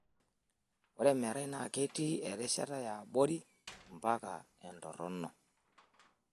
Ore emerai naa ketii erishata e abori mpaka entoronok.